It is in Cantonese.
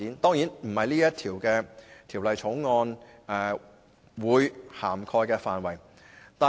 當然，這不是《條例草案》會涵蓋的範圍。